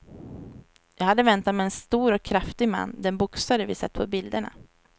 Jag hade väntat mig en stor och kraftig man, den boxare vi sett på bilderna.